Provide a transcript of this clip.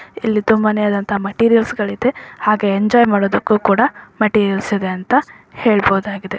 ಇಲ್ಲಿ ತುಂಬಾನೇ ಆದಂತಹ ಮೆಟೀರಿಯಲ್ಸ್ ಗಳಿದೆ ಹಾಗೆ ಎಂಜಾಯ್ ಮಾಡೋದಕ್ಕೂ ಕೂಡ ಮೆಟೀರಿಯಲ್ಸ್ ಇದೆ ಅಂತ ಹೇಳಬಹುದಾಗಿದೆ.